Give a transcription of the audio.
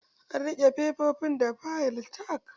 An rike fefofin da fayil tag